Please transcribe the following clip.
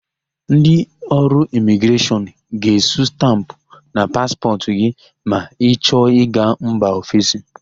Ndị ọrụ Imigreshọn ga-esu stampụ na paspọtụ gị ma ị chọ ịga mba ọfesi.